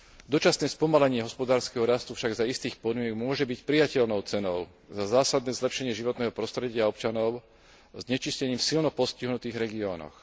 Dočasné spomalenie hospodárskeho rastu však za istých podmienok môže byť prijateľnou cenou za zásadné zlepšenie životného prostredia občanov znečistením v silno postihnutých regiónoch.